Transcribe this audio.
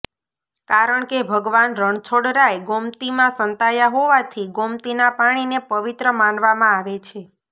કારણ કે ભગવાન રણછોડરાય ગોમતીમાં સંતાયા હોવાથી ગોમતીના પાણીને પવિત્ર માનવામાં આવે છે